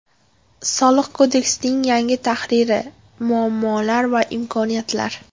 Soliq kodeksining yangi tahriri: muammolar va imkoniyatlar.